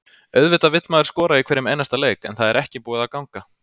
Auðvitað vill maður skora í hverjum einasta leik en það er ekki búið að ganga.